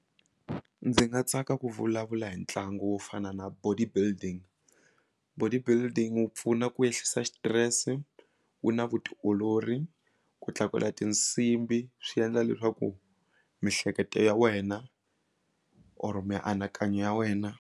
Ndzi nga tsaka ku vulavula hi ntlangu wo fana na body building body building wu pfuna ku ehlisa xitirese wu na vutiolori ku tlakula tinsimbhi swi endla leswaku miehleketo ya wena or mianakanyo ya wena.